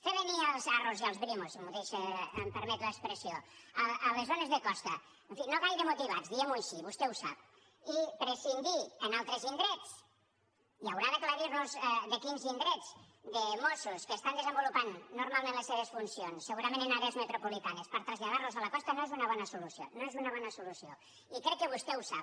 fer venir les arro i les brimo si em permet l’expressió a les zones de costa en fi no gaire motivats diguem ho així vostè ho sap i prescindir en altres indrets i haurà d’aclarir nos de quins indrets de mossos que estan desenvolupant normalment les seves funcions segurament en àrees metropolitanes per traslladar los a la costa no és una bona solució no és una bona solució i crec que vostè ho sap